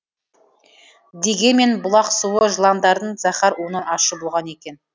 дегенмен бұлақ суы жыландардың зәһәр уынан ащы болған екен